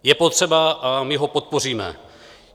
Je potřeba a my ho podpoříme.